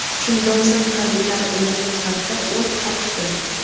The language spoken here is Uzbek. Shundan so‘ng harbiylar ularga qarata o‘t ochdi.